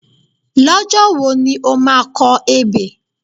Lọ́jọ́ wo ni o máa kọ ebè?